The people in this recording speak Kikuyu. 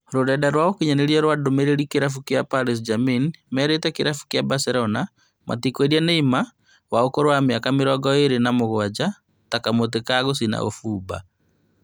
Rũrenda rwa ũkinyanĩria wa ndũmĩrĩri Kĩrabu kĩa Paris St-Germain nĩmerĩte kĩrabu kĩa Barcelona metikwendia Neymar wa ũkũrũ wa mĩaka mĩrongo ĩrĩ na mũgwanja ta kamũtĩ ga gũcina ũbumba